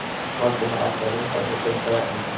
Valdimar ætti að vinda sér beint að efninu.